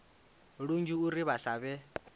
lunzhi uri vha sa vhe